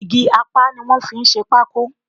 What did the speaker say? Igi apá ni wọ́n fi ń ṣe pákó